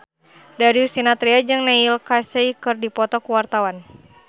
Darius Sinathrya jeung Neil Casey keur dipoto ku wartawan